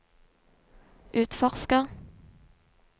utforsker